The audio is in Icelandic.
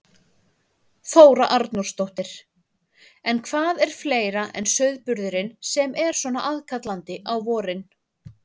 Þóra Arnórsdóttir: En hvað er fleira en sauðburðurinn sem er svona aðkallandi á vorin?